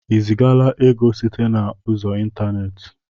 I zigaala ego site na ụzọ ịntaneti?